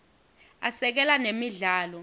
asekela nemidlalo